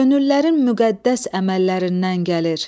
Könüllərin müqəddəs əməllərindən gəlir.